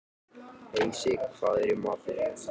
Heisi, hvað er í matinn?